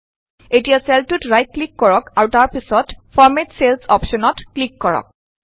এতিয়া চেলটোত right click কৰক আৰু তাৰ পাছত ফৰমেট চেলচ অপশ্যন ত ক্লিক কৰক